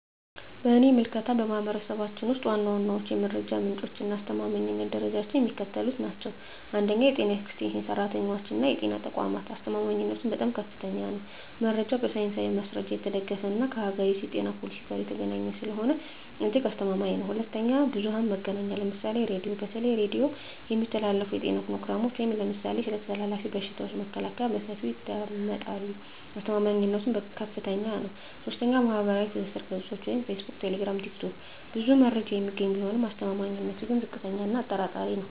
በእኔ ምልከታ፣ በማኅበረሰባችን ውስጥ ዋና ዋናዎቹ የመረጃ ምንጮችና የአስተማማኝነት ደረጃቸው የሚከተሉት ናቸው፦ 1. የጤና ኤክስቴንሽን ሠራተኞችና የጤና ተቋማት አስተማማኝነቱም በጣም ከፍተኛ ነው። መረጃው በሳይንሳዊ ማስረጃ የተደገፈና ከአገሪቱ የጤና ፖሊሲ ጋር የተገናኘ ስለሆነ እጅግ አስተማማኝ ነው። 2. ብዙኃን መገናኛ ምሳሌ ራዲዮ:- በተለይ በሬዲዮ የሚተላለፉ የጤና ፕሮግራሞች (ለምሳሌ ስለ ተላላፊ በሽታዎች መከላከያ) በሰፊው ይደመጣሉ። አስተማማኝነቱም በጣም ከፍታኛ ነው። 3. ማኅበራዊ ትስስር ገጾች (ፌስቡክ፣ ቴሌግራም፣ ቲክቶክ) ብዙ መረጃ የሚገኝ ቢሆንም አስተማማኝነቱ ግን ዝቅተኛ እና አጠራጣሪ ነው።